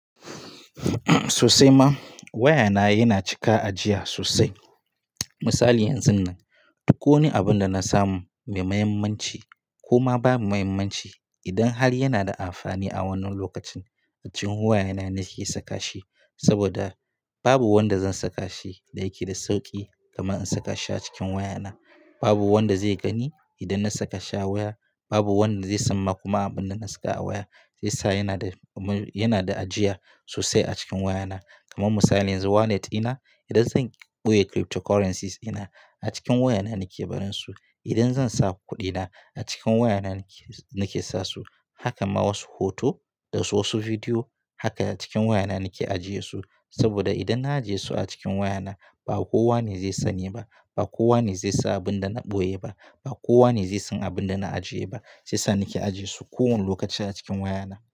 Sosai ma waya na yana cika ajiya sosai. Misali yanzun nan, duk wani abun da na samu mai muhimmanci kuma babu muhimmanci idan har yana da amfani a wannan lokacin a cikin waya na nake saka shi. Saboda babu wanda zan saka shi da yake da sauƙi kamar in saka shi a cikin waya na. Babu wanda zai gani idan na saka shi a waya, babu wanda zai san ma kuma abin da na saka a waya. Shi yasa yana da, yana da ajiya sosai a cikin waya na. Kamar misali yanzu wallet dina idan zan ɓoye cryptocurrencies dina, a cikin waya na nake barin su. Idan zan sa kuɗi na a cikin waya na nake, nake sa su. Haka ma wasu hoto da wasu bidiyo haka a cikin waya na nake ajiye su. Saboda idan na ajiye su a cikin waya na ba kowane zai sani ba, ba kowane zai san abin da na ɓoye ba, ba kowane zai san abin da na ajiye ba. Shi yasa nake ajiye su kowane lokaci a cikin waya na.